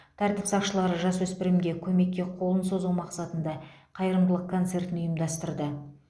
тәртіп сақшылары жасөспірімге көмекке қолын созу мақсатында қайырымдылық концертін ұйымдастырды